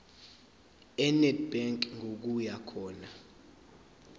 enedbank ngokuya khona